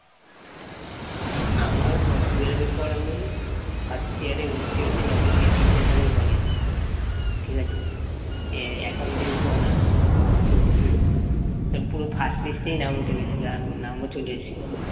আমার twelve এর পর আমি first year ভর্তি হয়েছি নবদ্বীপ বিদ্যাসাগর college ঠিক আছে এ accountancy honours আছে পুরো first list নাম উঠে গেছিল আর নামও চলে এসেছিল